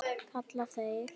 kalla þeir.